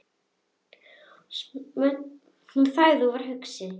Hún þagði og var hugsi.